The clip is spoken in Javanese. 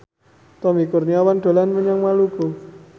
Tommy Kurniawan dolan menyang Maluku